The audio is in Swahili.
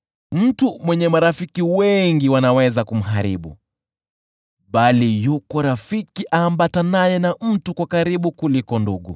Mtu mwenye marafiki wengi wanaweza kumharibu, bali yuko rafiki aambatanaye na mtu kwa karibu kuliko ndugu.